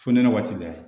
Fonɛnɛ waati la